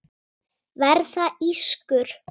Verða ískur.